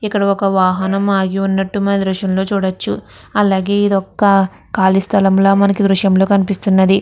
ఇక్క్కడ ఒక వహానం ఆగి వున్నటు మనం ఈదృశ్యం లో చుడచు అలాగే ఇది ఒక కాళీ సాల ల దృశ్యం ల కనిపిస్తునది.